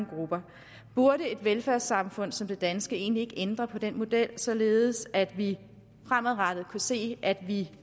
grupper burde et velfærdssamfund som det danske egentlig ikke ændre på den model således at vi fremadrettet kunne se at vi